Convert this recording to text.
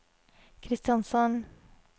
Kristiansand